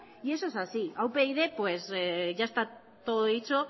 y eso es así a upyd ya está todo dicho